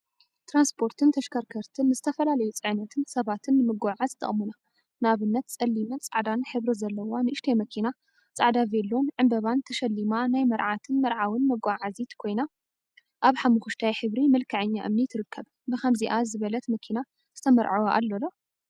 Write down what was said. ትራንስፖርትን ተሽከርከርቲን ንዝተፈላለዩ ፅዕነትን ሰባትን ንምጉዕዓዝ ይጠቅሙና፡፡ ንአብነት ፀሊምን ፃዕዳን ሕብሪ ዘለዋ ንእሽተይ መኪና ፃዕዳ ቬሎን ዕንበባን ተሸሊማ ናይ መርዓትን መርዓዊን መጓዓዓዚት ኮይና፤ አብ ሓመኩሽታይ ሕብሪ መልክዐኛ እምኒ ትርከብ፡፡ ብከምዚአ ዝበለት መኪና ዝትመርዐወ አሎ ዶ?